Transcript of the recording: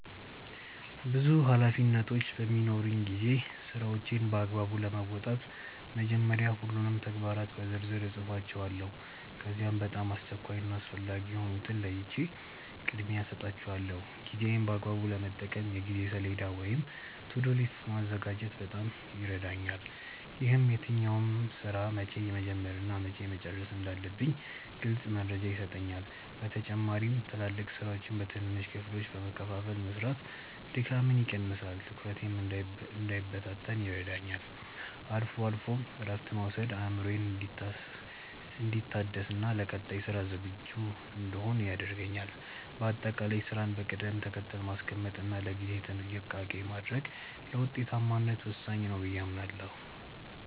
ብዙ ኃላፊነቶች በሚኖሩኝ ጊዜ ስራዎቼን በአግባቡ ለመወጣት መጀመሪያ ሁሉንም ተግባራት በዝርዝር እጽፋቸዋለሁ። ከዚያም በጣም አስቸኳይ እና አስፈላጊ የሆኑትን ለይቼ ቅድሚያ እሰጣቸዋለሁ። ጊዜዬን በአግባቡ ለመጠቀም የጊዜ ሰሌዳ ወይም "To-do list" ማዘጋጀት በጣም ይረዳኛል። ይህም የትኛውን ስራ መቼ መጀመር እና መቼ መጨረስ እንዳለብኝ ግልጽ መረጃ ይሰጠኛል። በተጨማሪም ትላልቅ ስራዎችን በትንንሽ ክፍሎች በመከፋፈል መስራት ድካምን ይቀንሳል፤ ትኩረቴም እንዳይበታተን ይረዳኛል። አልፎ አልፎም እረፍት መውሰድ አእምሮዬ እንዲታደስና ለቀጣይ ስራ ዝግጁ እንድሆን ያደርገኛል። በአጠቃላይ ስራን በቅደም ተከተል ማስቀመጥ እና ለጊዜ ጥንቃቄ ማድረግ ለውጤታማነት ወሳኝ ነው ብዬ አምናለሁ።